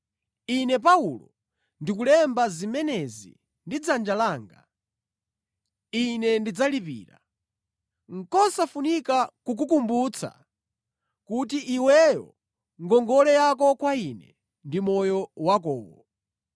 Ine, Paulo ndikulemba zimenezi ndi dzanja langa. Ine ndidzalipira. Nʼkosafunika kukukumbutsa kuti iweyo ngongole yako kwa ine ndi moyo wakowo.